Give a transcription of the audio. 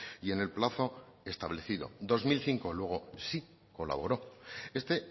y en el plazo establecido dos mil cinco luego sí colaboró este